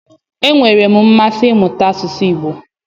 Enwere m mmasị imuta asụsụ Igbo.